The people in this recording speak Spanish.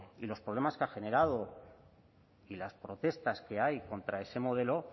y los problemas que ha generado y las protestas que hay contra ese modelo